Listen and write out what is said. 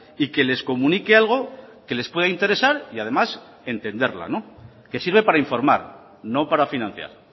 y que les comunique algo que les pueda interesar y además entenderla que sirve para informar no para financiar